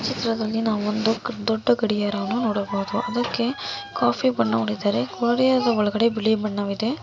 ಚಿತ್ರದಲ್ಲಿ ನಾನು ಒಂದು ದೊಡ್ಡ ಗಡಿಯಾರವನ್ನು ನೋಡಬಹುದು ಅದಕ್ಕೆ ಕಾಫಿ ನೋಡಿದರೆ ಗೋಡೆಯ ಒಳಗೆ ಬಿಳಿ ಬಣ್ಣವಿದೆ.